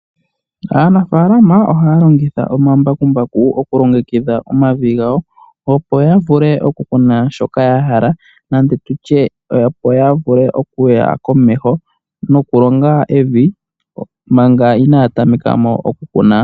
Aanafalama ohaya longitha omambakumbaku oku longekidha omavi gawo. Opo ya vule oku kuna shoka ya hala nenge tutye opo ya vule okuya komeho noku longa evi manga inaya tameka mo okukuna.